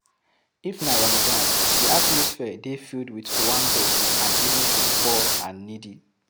If na Ramadan, di atmosphere dey filled with owambe and giving to di poor and needy